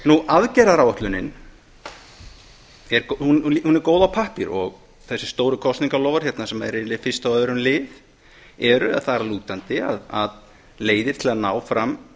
aðgerðaáætlunin er góð á pappír og þessi stóru kosningaloforð hérna sem eru yfirleitt í fyrsta og öðrum lið eru þar að lútandi leiðir til að ná fram